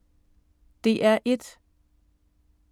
DR1